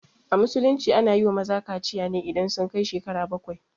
A musulunci ana yiwa maza kaciya ne idan sun kai shekaru bakwai